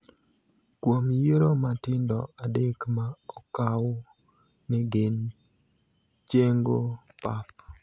kuom yiero matindo adek ma okaw ni gin chengo pap